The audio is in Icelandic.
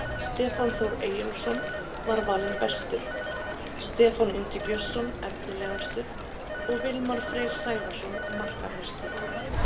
Stefán Þór Eyjólfsson var valinn bestur, Stefán Ingi Björnsson efnilegastur og Vilmar Freyr Sævarsson markahæstur.